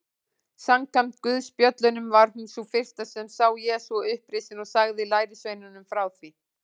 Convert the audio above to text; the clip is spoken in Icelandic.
Samkvæmt guðspjöllunum var hún sú fyrsta sem sá Jesú upprisinn og sagði lærisveinunum frá því.